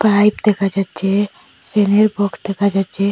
Pipe দেখা যাচ্চে ফ্যানের বক্স দেখা যাচ্চে।